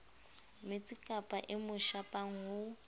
metsikapa e mo shapang ho